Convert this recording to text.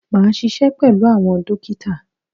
Máa ṣiṣẹ́ pẹ̀lú àwọn dókítà.